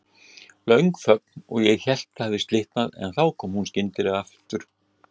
Löng þögn og ég hélt það hefði slitnað, en þá kom hún skyndilega aftur.